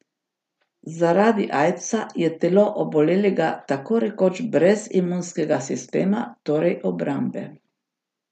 Zaradi aidsa je telo obolelega tako rekoč brez imunskega sistema, torej obrambe.